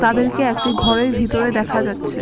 তাদেরকে একটি ঘরের ভিতরে দেখা যাচ্ছে।